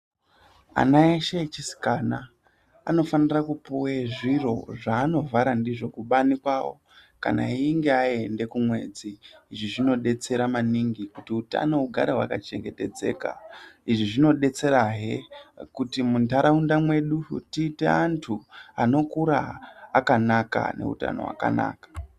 Ana eshe echisikana anofanire kupuwe zviro zvaanovhara ndizvo kubani kwawo kana eyinge aende kumwedzi izvi zvinodetsera maningi kutk utano hugare hwakachengetedzeka izvi zvinobetserahe kuti muntaraunda mwedu tiite antu anokura akanaka ane utano hwakanaka